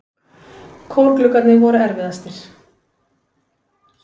Kórgluggarnir voru erfiðastir.